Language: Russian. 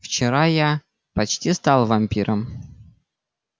вчера я почти стал вампиром